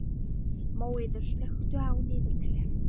Móeiður, slökktu á niðurteljaranum.